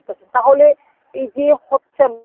তাহলে এই যে হচ্ছেন